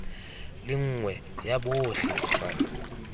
le nngwe ya botlhe fa